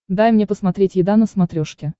дай мне посмотреть еда на смотрешке